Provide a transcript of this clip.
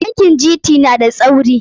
Bankin GT na da tsauri.